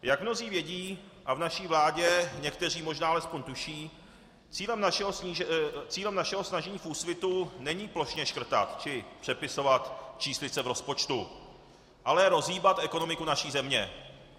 Jak mnozí vědí a v naší vládě někteří možná alespoň tuší, cílem našeho snažení v Úsvitu není plošně škrtat či přepisovat číslice v rozpočtu, ale rozhýbat ekonomiku naší země.